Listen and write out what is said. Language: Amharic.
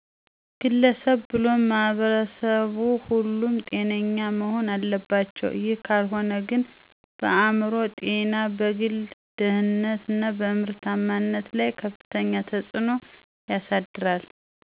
ግለሰብ ብሎም ማህበረሰብ ሁሉም ጤነኛ መሆን አለባቸው ይህ ካልሆነ ግን በአእምሮ ጤና፣ በግል ደህንነት እና በምርታማነት ላይ ከፍተኛ ተጽዕኖ ያሳድራል።